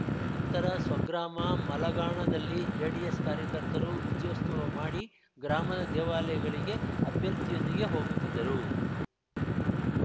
ನಂತರ ಸ್ವಗ್ರಾಮ ಮಲಘಾಣದಲ್ಲಿ ಜೆಡಿಎಸ್‌ ಕಾರ್ಯಕರ್ತರು ವಿಜಯೋತ್ಸವ ಮಾಡಿ ಗ್ರಾಮದ ದೇವಾಲಯಗಳಿಗೆ ಅಭ್ಯರ್ಥಿಯೊಂದಿಗೆ ಹೋಗುತ್ತಿದ್ದರು